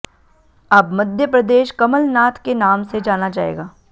अब मध्य प्रदेश कमलनाथ के नाम से जाना जाएगा